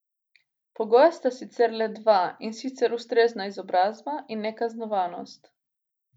Pogoja sta sicer le dva in sicer ustrezna izobrazba in nekaznovanost.